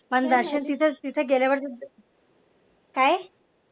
पण दर्शन तिथे तिथे गेल्यावर काय?